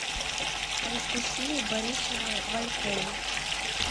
анастасию борисовну валькову